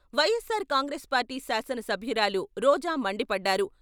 YSR Congress party శాసనసభ్యురాలు రోజా మండిపడ్డారు.